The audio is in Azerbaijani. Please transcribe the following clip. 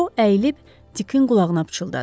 Co əyilib Dikin qulağına pıçıldadı.